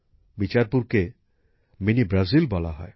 বিচারপুরকে mini Brazil বলা হয়